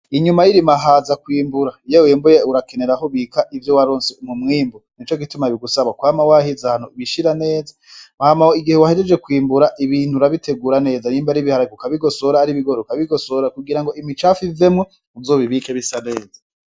Inyuma y'irima haza kwimbura, iyo wimbuye urakenera aho ubika ivyo waronse mumwimbu nico gituma bigusaba kwama wahiza ahantu ubishira neza, hama igihe wahejeje kwimbura ibintu urabitegura neza nyimba ari ibiharage urabigosora ari ibigori ukabigosora kugira ngo imicafu ivemwo uzo bibike bisa neza.